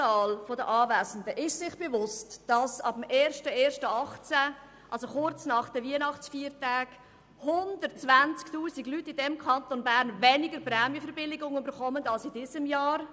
Wer der Anwesenden im Saal ist sich bewusst, dass ab dem 01. 01. 2018 120 000 Leute im Kanton Bern weniger Prämienverbilligung erhalten als im letzten Jahr?